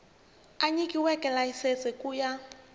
a nyikiweke layisense ku ya